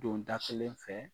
Don da kelen fɛ